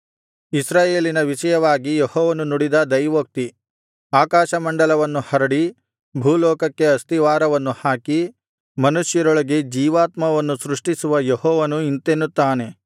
ಇಸ್ರಾಯೇಲಿನ ವಿಷಯವಾಗಿ ಯೆಹೋವನು ನುಡಿದ ದೈವೋಕ್ತಿ ಆಕಾಶ ಮಂಡಲವನ್ನು ಹರಡಿ ಭೂಲೋಕಕ್ಕೆ ಅಸ್ತಿವಾರವನ್ನು ಹಾಕಿ ಮನುಷ್ಯರೊಳಗೆ ಜೀವಾತ್ಮವನ್ನು ಸೃಷ್ಟಿಸುವ ಯೆಹೋವನು ಇಂತೆನ್ನುತ್ತಾನೆ